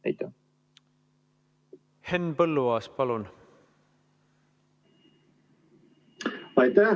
Henn Põlluaas, palun!